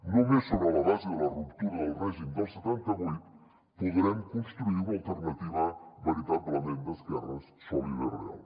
només sobre la base de la ruptura del règim del setanta vuit podrem construir una alternativa veritablement d’esquerres sòlida i real